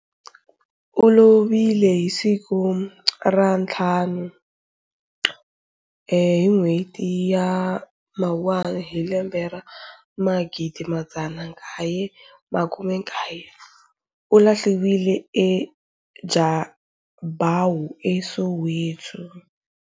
U lovile hi suku ra nthlanu hi n'hweti ya mawuwana hi lembe ra magidimadzanakaye makumekaye u lahliwile eJabawu eSoweto.